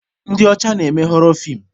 Ndị ọcha na-eme họrọ feem